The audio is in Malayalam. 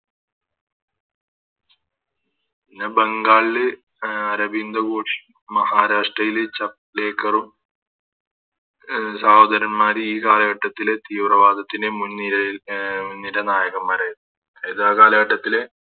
പിന്നെ ബംഗാളില് അഹ് അരവിന്ദ് ഘോഷ് മഹാരാഷ്ട്രയില് ചപ്ളെക്കാരു അഹ് സഹോദരന്മര് ഈ കാലഘട്ടത്തിലെ തീവ്രവാദത്തിൻറെ മുൻ നിരയിൽ അഹ് നിര നായകന്മാരായിരുന്നു എല്ലാ കാലഘട്ടത്തിലെ